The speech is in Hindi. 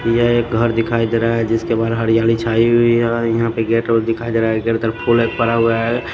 यह एक घर दिखाई दे रहा है जिसके बाहर हरियाली छाई हुई है यहां पे गेट और दिखाई दे रहा हैगेट फूल एक परा हुआ है।